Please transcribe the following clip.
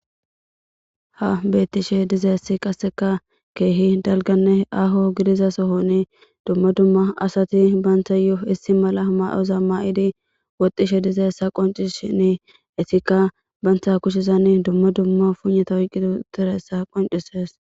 Ha netishe dizausi qsseka keehi ahonne dalga sohoni duma fima adati bantayo issi medho mayoza mayidi woxishe dizaysa qoncisishini banta kushezani duma duma puynata oykidi uttidaysa qoncises